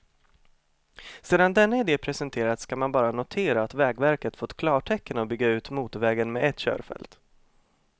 Sedan denna ide presenterats kan man bara notera att vägverket fått klartecken att bygga ut motorvägen med ett körfält.